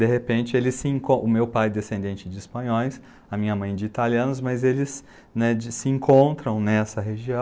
De repente, eles se, o meu pai é descendente de espanhóis, a minha mãe de italianos, mas eles, né, se encontram nessa região.